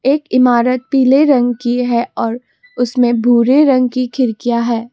एक इमारत पीले रंग की है और उसमें भूरे रंग की खिड़कियां है।